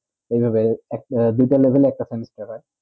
এই ভাবে দুটা level এ একটা semester হয়ে